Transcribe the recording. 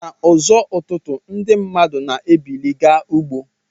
Na uzo ụtụtụ ndi mmadu na ebili ga ugbo.